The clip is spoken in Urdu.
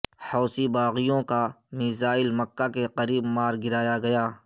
حوثی باغیوں کا میزائل مکہ کے قریب مار گرایا گیا